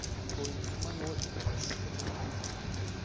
Ficou inclusive mais longe do trabalho dele, porém ele tinha que ir para aquele local.